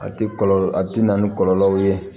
A ti kɔlɔlɔ a ti na ni kɔlɔlɔw ye